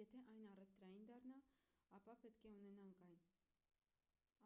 եթե այն առևտրային դառնա ապա պետք է ունենանք այն